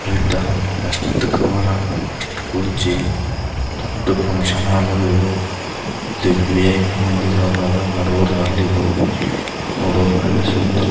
best cover ಆ best ಕುರ್ಚಿ ದೊಡ್ಡ್ ಫುಕ್ಷನ್ ಹಾಲ್ ಅದ ಇದು ಇಲ್ಲಿ ವಿ.ಐ.ಪಿ ಮಂದಿಗಳದವ ಬಡವರ ನೋಡೋರ್ ಕಣ್ಣಿಗ್ ಸುಂದರ್--